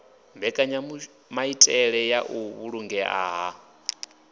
mbekenyamaitele ya u vhulungea ha